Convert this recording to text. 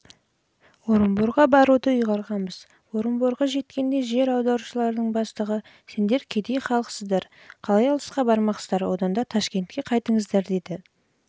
амурға баруды ұйғарғанбыз орынборға жеткенде жер аударушылардың бастығы сендер кедей халық сіздер қалай алысқа бармақсыздар одан да ташкентке